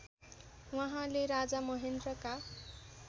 उहाँले राजा महेन्द्रका